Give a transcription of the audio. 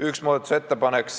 Üks muudatusettepanek